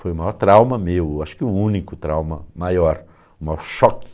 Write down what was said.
Foi o maior trauma meu, acho que o único trauma maior, o maior choque.